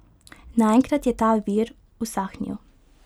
Naenkrat je ta vir usahnil.